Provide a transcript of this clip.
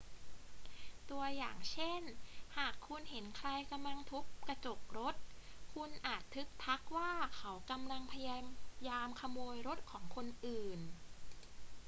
ตัวอย่างเช่น หากคุณเห็นใครกำลังทุบกระจกรถ คุณอาจทึกทักว่าเขากำลังพยายามขโมยรถของคนอื่น